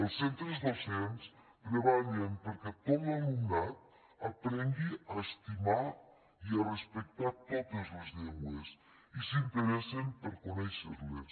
els centres docents treballen perquè tot l’alumnat aprengui a estimar i a respectar totes les llengües i s’interessen per conèixer les